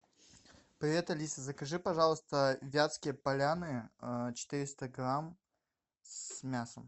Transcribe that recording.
привет алиса закажи пожалуйста вятские поляны четыреста грамм с мясом